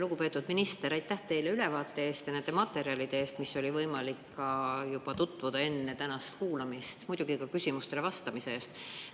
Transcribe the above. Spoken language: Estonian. Lugupeetud minister, aitäh teile ülevaate eest ja nende materjalide eest, millega oli võimalik tutvuda juba enne tänast kuulamist, muidugi ka küsimustele vastamise eest!